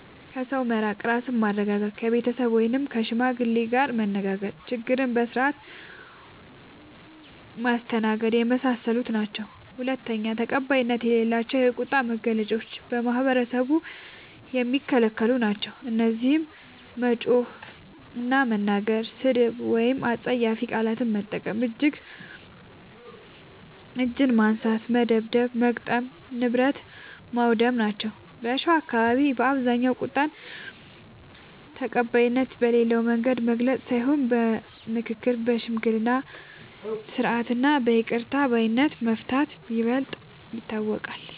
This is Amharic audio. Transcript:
ከሰው በመራቅ ራስን ማረጋጋት፣ ከቤተሰብ ወይም ከሽማግሌ ጋር መነጋገር፣ ችግርን በስርዓት ማስተናገድና የመሳሰሉት ናቸዉ። ፪. ተቀባይነት የሌላቸው የቁጣ መግለጫዎች በማህበረሰቡ የሚከለክሉ ናቸዉ። እነዚህም መጮህ እና መናገር፣ ስድብ ወይም አስጸያፊ ቃላት መጠቀም፣ እጅ ማንሳት (መደብደብ/መግጠም) ፣ ንብረት ማዉደም ናቸዉ። በሸዋ አካባቢዎች በአብዛኛዉ ቁጣን ተቀባይነት በሌለዉ መንገድ መግለጽ ሳይሆን በምክክር፣ በሽምግልና ስርዓት እና በይቅር ባይነት በመፍታት ይበልጥ ይታወቃል።